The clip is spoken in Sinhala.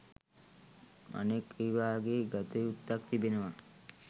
අනෙක් එවාගේ ගතයුත්තක් තිබෙනවා